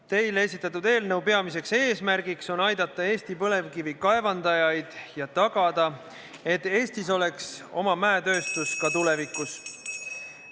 Teile esitatud eelnõu peamine eesmärk on aidata Eesti Põlevkivi kaevandajaid ja tagada, et Eestis oleks oma mäetööstus ka tulevikus.